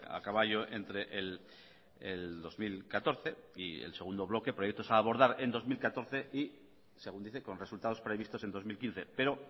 a caballo entre el dos mil catorce y el segundo bloque proyectos a abordar en dos mil catorce y según dice con resultados previstos en dos mil quince pero